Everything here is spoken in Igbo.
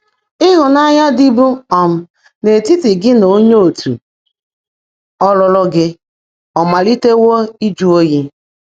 Ị́hụ́nányá ḍị́bú um n’ítítị́ gị́ nà óńyé ọ̀tú́ ọ́lụ́lụ́ gị́ ọ̀ máliitèèwọ́ ị́jụ́ óyí?